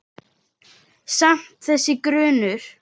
Samt- þessi grunur.